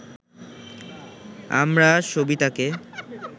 আমরা সবিতাকে